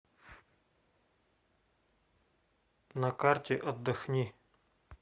на карте отдохни